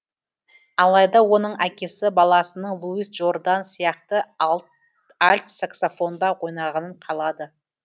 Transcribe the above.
алайда оның әкесі баласының луис джордан сияқты альт саксофонда ойнағанын қалады